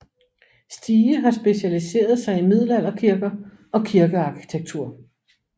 Stige har specialiseret sig i middelalderkirker og kirkearkitektur